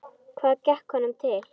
Hvað gekk honum til?